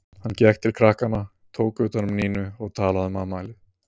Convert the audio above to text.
Hann gekk til krakkanna, tók utan um Nínu og talaði um afmælið.